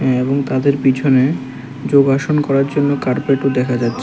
এবং তাদের পিছনে যোগাসন করার জন্য কার্পেটও দেখা যাচ্ছে।